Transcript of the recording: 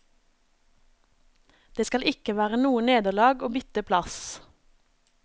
Det skal ikke være noe nederlag å bytte plass.